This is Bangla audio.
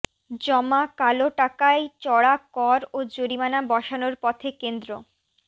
জমা কালো টাকায় চড়া কর ও জরিমানা বসানোর পথে কেন্দ্র